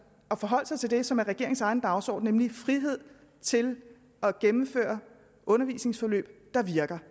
at forholde sig til det som er regeringens egen dagsorden nemlig frihed til at gennemføre undervisningsforløb der virker